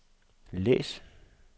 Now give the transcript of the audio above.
læs